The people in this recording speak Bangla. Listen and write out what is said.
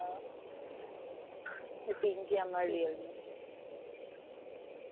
পিঙ্কি আমার real name